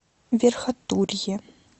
верхотурье